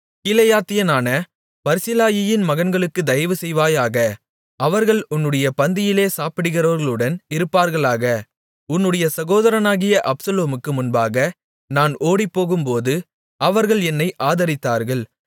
கீலேயாத்தியனான பர்சிலாயியின் மகன்களுக்குத் தயவுசெய்வாயாக அவர்கள் உன்னுடைய பந்தியிலே சாப்பிடுகிறவர்களுடன் இருப்பார்களாக உன்னுடைய சகோதரனாகிய அப்சலோமுக்கு முன்பாக நான் ஓடிப்போகும்போது அவர்கள் என்னை ஆதரித்தார்கள்